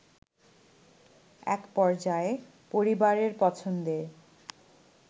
একপর্যায়ে পরিবারের পছন্দে